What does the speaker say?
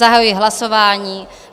Zahajuji hlasování.